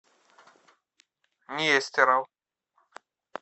нестеров